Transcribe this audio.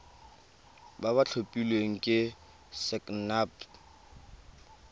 ba ba tlhophilweng ke sacnasp